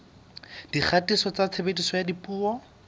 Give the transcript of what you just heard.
dikgatiso tsa tshebediso ya dipuo